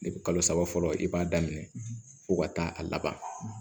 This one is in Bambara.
kalo saba fɔlɔ i b'a daminɛ fo ka taa a laban